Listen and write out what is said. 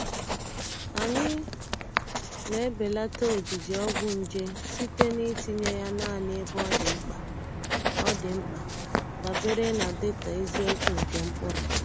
Anyị na-ebelata ojiji ọgwụ nje site na itinye ya naanị ebe ọ dị mkpa, ọ dị mkpa, dabere na data eziokwu nke mkpụrụ.